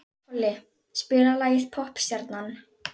Tolli, spilaðu lagið „Poppstjarnan“.